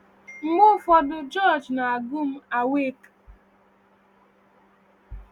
Mgbe ụfọdụ, George na-agụ m Awake!